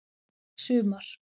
sumar